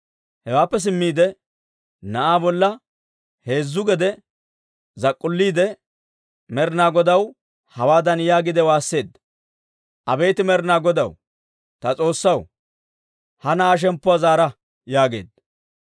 Hewaappe simmiide na'aa bolla heezzu gede zak'k'ulliide, Med'inaa Godaw hawaadan yaagiide waasseedda; «Abeet Med'inaa Godaw, ta S'oossaw, ha na'aa shemppuwaa zaara» yaageedda.